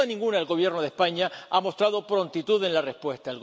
Sin duda ninguna, el Gobierno de España ha mostrado prontitud en la respuesta.